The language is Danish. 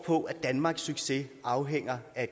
på at danmarks succes afhænger af